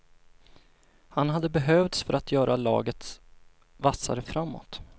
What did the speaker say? Han hade behövts för att göra laget vassare framåt.